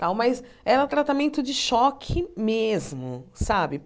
Tal mas era um tratamento de choque mesmo, sabe?